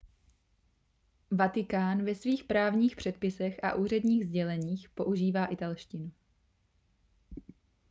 vatikán ve svých právních předpisech a úředních sděleních používá italštinu